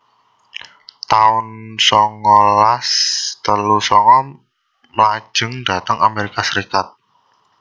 taun songolas telu sanga Mlajeng dhateng Amerika Serikat